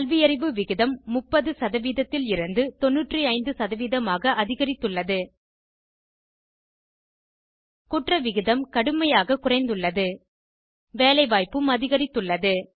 கல்வியறிவு விகிதம் 30 லிருந்து 95 ஆக அதிகரித்துள்ளது குற்ற விகிதம் கடுமையாக குறைந்துள்ளது வேலைவாய்ப்பும் அதிகரித்துள்ளது